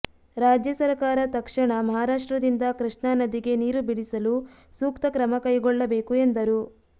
ರಾಜ್ಯ ಸರಕಾರ ತಕ್ಷ ಣ ಮಹಾರಾಷ್ಟ್ರದಿಂದ ಕೃಷ್ಣಾ ನದಿಗೆ ನೀರು ಬಿಡಿಸಲು ಸೂಕ್ತ ಕ್ರಮ ಕೈಗೊಳ್ಳಬೇಕು ಎಂದರು